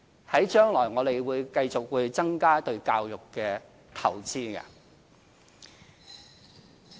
在將來，我們會繼續增加對教育的投資。